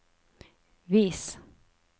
vis